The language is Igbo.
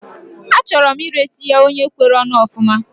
Achọrọ m iresi ya onye kwere onu ofuma